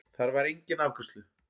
Þar var enginn afgreiðslu